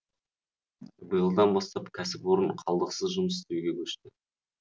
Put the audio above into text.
биылдан бастап кәсіпорын қалдықсыз жұмыс істеуге көшті